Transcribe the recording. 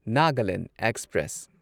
Nagaland express